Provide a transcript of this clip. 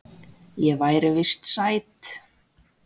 Ég væri víst sæt.